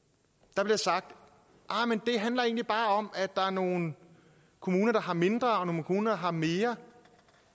der bliver sagt det handler egentlig bare om at der er nogle kommuner der har mindre og nogle kommuner der har mere